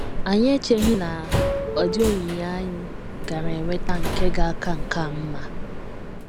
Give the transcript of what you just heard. Anyị echeghị na ọ dị onyinye anyị gaara enweta nke ga - aka nke a mma. ”